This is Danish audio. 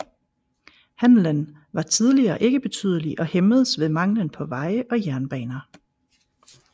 Handelen var tidligere ikke betydelig og hæmmedes ved manglen på veje og jernbaner